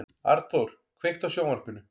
Arnþór, kveiktu á sjónvarpinu.